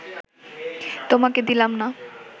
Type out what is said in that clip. তোমাকে দিলাম না